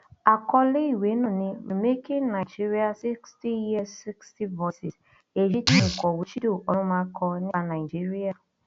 àkọlé ìwé náà ni remaking nigeria sixty years sixty voices èyí tí òǹkọwé chido onumahʹ kọ nípa nàìjíríà